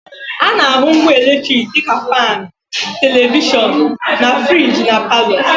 A na-ahụ ngwa eletriki dị ka faanụ, televishọnụ, na friji na palọ